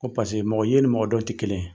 Ko paseke, mɔgɔ ye ni mɔgɔ dɔn tɛ kelen ye.